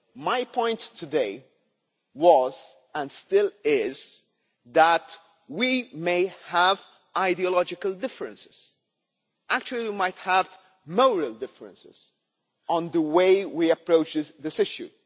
My point today was and still is that we may have ideological differences actually, we might have moral differences on the way we approach this issue.